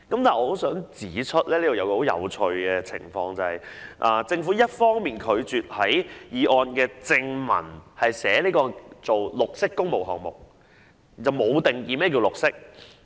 但我想指出一個十分有趣的情況，就是政府一方面拒絕在決議案正文訂明"綠色工程項目"，卻未有定義何謂"綠色"。